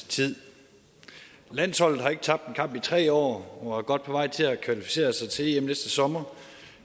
tid landsholdet har ikke tabt en kamp i tre år og er godt på vej til at kvalificere sig til em næste sommer